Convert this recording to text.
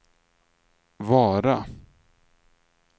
Vara